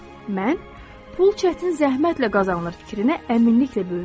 Mən pul çətin zəhmətlə qazanılır fikrinə əminliklə böyümüşəm.